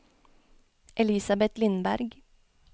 Elisabeth Lindberg